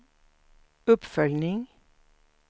uppföljning